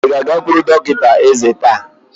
Ị ga-agakwuru dọkịta ézé taa!